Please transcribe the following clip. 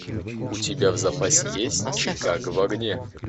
у тебя в запасе есть чикаго в огне